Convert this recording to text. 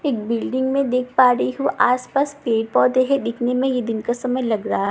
एक बिल्डिंग में देख पा रही हूँ आसपास पेड़ पौधे हैं दिखने में ये दिन का समय लग रहा हैं।